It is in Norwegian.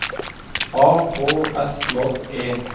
A K S J E